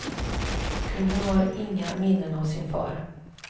Kungen har inga minnen av sin far.